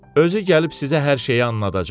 Özü gəlib sizə hər şeyi anladacaq.